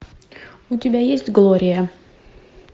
у тебя есть глория